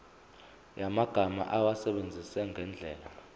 yamagama awasebenzise ngendlela